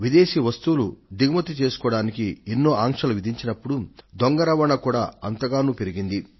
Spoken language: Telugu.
విదేశీ వస్తువులు దిగుమతి చేసుకోవడానికి ఎన్నో ఆంక్షలు విధించినప్పుడు దొంగ రవాణా కూడా అంతగానూ పెరిగింది